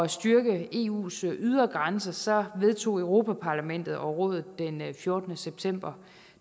styrke eus ydre grænser vedtog europa parlamentet og rådet den fjortende september